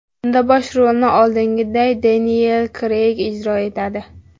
Unda bosh rolni, oldingiday, Deniyel Kreyg ijro etadi.